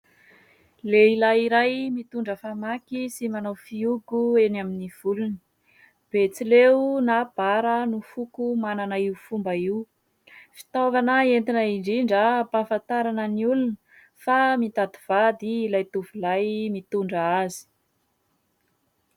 Lehilahy iray mitondra famaky sy manao fihogo eny amin'ny volony. Betsileo na Bara no manana io fomba io. Fitaovana entina indrindra ampahafantarana ny olona fa mitady vady ilay tovolahy mitondra azy.